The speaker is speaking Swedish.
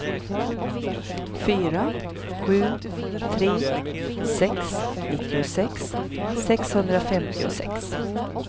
fyra sju tre sex nittiosex sexhundrafemtiosex